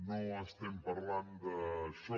no estem parlant d’això